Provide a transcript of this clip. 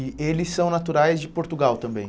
E eles são naturais de Portugal também?